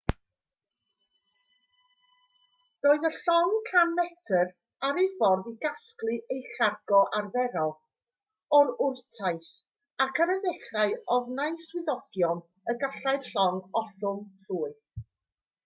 roedd y llong 100 metr ar ei ffordd i gasglu ei chargo arferol o wrtaith ac ar y dechrau ofnai swyddogion y gallai'r llong ollwng llwyth